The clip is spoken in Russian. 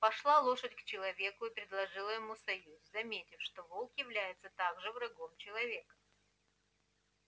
пошла лошадь к человеку и предложила ему союз заметив что волк является также врагом человека